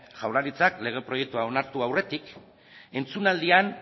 jaurlaritzak lege proiektua onartu aurretik entzunaldian